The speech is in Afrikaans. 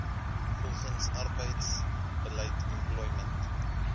volgens arbeidsbeleid employment